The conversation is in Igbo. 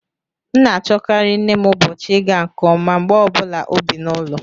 M na-achọkarị nne m ụbọchị ịga nke ọma mgbe ọ bụla o bi n'ụlọ